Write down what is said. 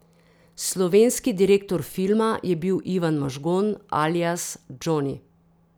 Slovenski direktor filma je bil Ivan Mažgon, alias Džoni.